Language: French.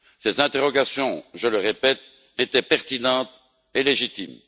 Ces interrogations, je le répète, étaient pertinentes et légitimes.